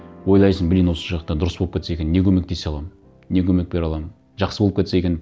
ойлайсың блин осы жақта дұрыс болып кетсе екен не көмектесе аламын не көмек бере аламын жақсы болып кетсе екен